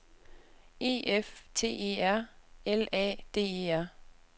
E F T E R L A D E R